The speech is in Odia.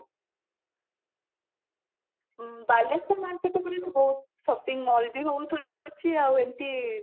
ବାଲେଶ୍ଵର market ଉପରେ ତ ବହୁତ shopping mall ବି ବହୁତ ଅଛି ଆଉ ଏମତି